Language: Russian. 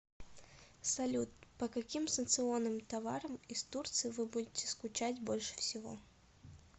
салют по каким санкционным товарам из турции вы будете скучать больше всего